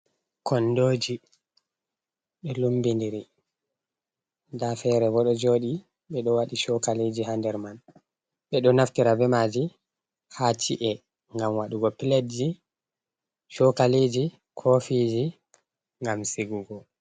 Kondoji ɗo lumbidiri nda fere bo ɗo joɗi ɓeɗo waɗi chokaliji ha nder man, ɓeɗo naftira bemaji ha ci'e gam waɗugo piledji, chokaliji, kofiji gam sigugo.